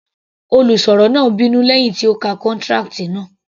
Olùsọ̀rọ̀ náà bínú lẹ́hìn tí ó ka contract náà.